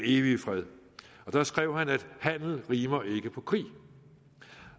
evige fred og der skrev han at handel rimer ikke på krig